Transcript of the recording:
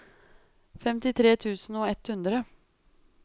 femtitre tusen og ett hundre